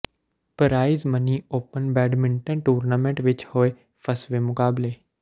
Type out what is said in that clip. price money open badminton tournament ਵਿਚ ਹੋਏ ਫਸਵੇਂ ਮੁਕਾਬਲੇ